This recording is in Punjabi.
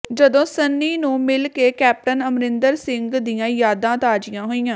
ਜਦੋਂ ਸੰਨੀ ਨੂੰ ਮਿਲ ਕੇ ਕੈਪਟਨ ਅਮਰਿੰਦਰ ਸਿੰਘ ਦੀਆਂ ਯਾਦਾਂ ਤਾਜ਼ੀਆਂ ਹੋਈਆਂ